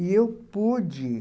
E eu pude.